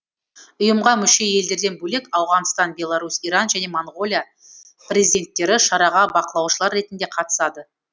ұйымға мүше елдерден бөлек ауғанстан беларусь иран және моңғолия президенттері шараға бақылаушылар ретінде қатысады